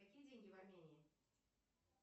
какие деньги в армении